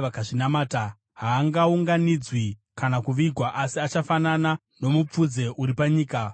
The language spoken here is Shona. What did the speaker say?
vakazvinamata. Haangaunganidzwi kana kuvigwa, asi achafanana nomupfudze uri panyika.